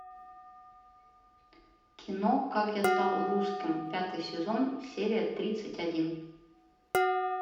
кино как я стал русским пятый сезон серия тридцать один